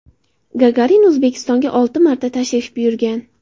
Gagarin O‘zbekistonga olti marta tashrif buyurgan.